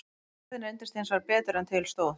Kvarðinn reyndist hins vegar betur en til stóð.